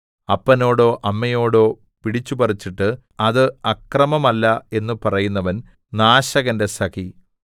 അപ്പനോടോ അമ്മയോടോ പിടിച്ചുപറിച്ചിട്ട് അത് അക്രമമല്ല എന്നു പറയുന്നവൻ നാശകന്റെ സഖി